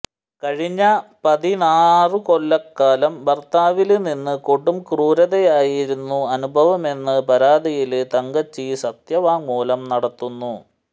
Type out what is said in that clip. കഴിഞ്ഞ പതിനാറുകൊല്ലക്കാലം ഭര്ത്താവില്നിന്ന് കൊടുംക്രൂരതയായിരുന്നു അനുഭവമെന്ന് പരാതിയില് തങ്കച്ചി സത്യവാങ്മൂലം നടത്തുന്നു